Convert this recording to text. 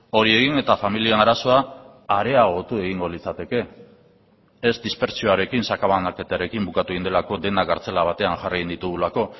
hori egin eta familien arazoa areagotu egingo litzateke ez dispertsioarekin sakabanaketarekin bukatu egin delako denak kartzela batean jarri egin ditugulako